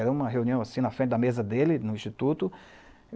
Era uma reunião assim na frente da mesa dele, no Instituto.